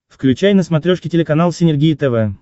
включай на смотрешке телеканал синергия тв